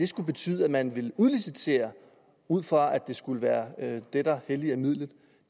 skulle betyde at man ville udlicitere ud fra at det skulle være det der hellige midlet